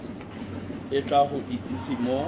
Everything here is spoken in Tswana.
o tla go itsise mo